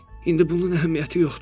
İndi bunun əhəmiyyəti yoxdur.